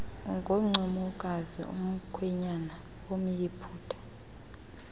ngoncumokazi umkhwenyana womyiputa